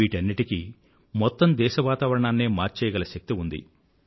వీటన్నింటికీ మొత్తం దేశ వాతావరణాన్నే మార్చేయగల శక్తి ఉంది